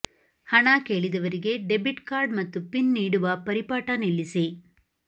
ಹಣ ಕೇಳಿದವರಿಗೆ debit card ಮತ್ತು ಪಿನ್ ನೀಡುವ ಪರಿಪಾಠ ನಿಲ್ಲಿಸಿ